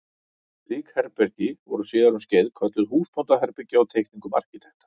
Slík herbergi voru síðar um skeið kölluð húsbóndaherbergi á teikningum arkitekta.